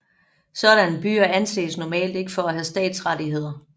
Sådanne byer anses normalt ikke for at have stadsrettigheder